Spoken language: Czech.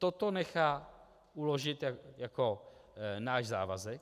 Toto nechá uložit jako náš závazek.